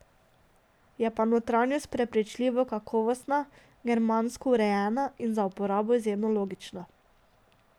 Je pa notranjost prepričljivo kakovostna, germansko urejena in za uporabo izjemno logična.